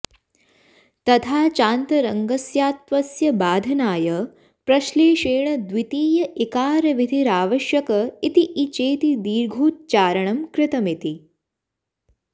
तथा चान्तरङ्गस्यात्वस्य बाधनाय प्रश्लेषेण द्वितीय इकारविधिरावश्यक इति ई चेति दीर्घोच्चारणं कृतमिति